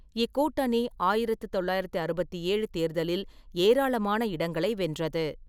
இக்கூட்டணி ஆயிரத்து தொள்ளாயிரத்து அறுபத்து ஏழு தேர்தலில் ஏராளமான இடங்களை வென்றது.